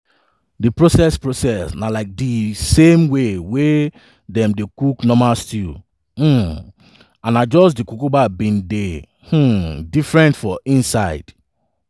di process process na like di same way wey dem dey cook normal stew um and na just di cucumber bin dey um different for inside.